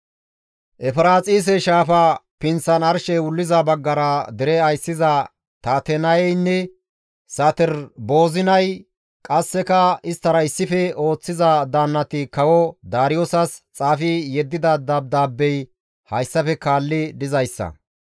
Efiraaxise shaafa pinththan arshey wuliza baggara dere ayssiza Tatenayeynne Saterboozinay qasseka isttara issife ooththiza daannati kawo Daariyoosas xaafi yeddida dabdaabbey hayssafe kaalli dizayssa;